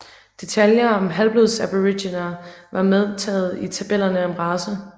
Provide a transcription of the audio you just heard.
Detaljer om halvblodsaboriginere var medtaget i tabellerne om race